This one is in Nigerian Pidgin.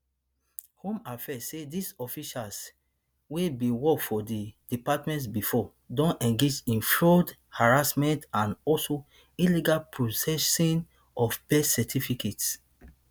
home affairs say dis officials wey bin work for di department bifor don engage in fraud harassment and also illegal processing of birth certificates